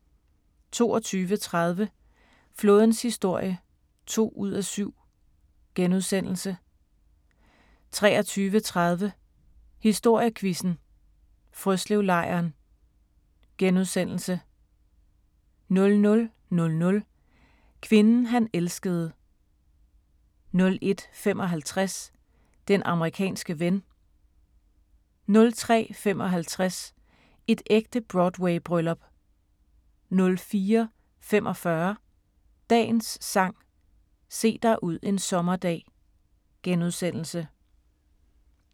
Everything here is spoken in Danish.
22:30: Flådens historie (2:7)* 23:30: Historiequizzen: Frøslevlejren * 00:00: Kvinden han elskede 01:55: Den amerikanske ven 03:55: Et ægte Broadway-bryllup 04:45: Dagens Sang: Se dig ud en sommerdag *